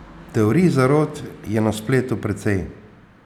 Teorij zarot je na spletu precej.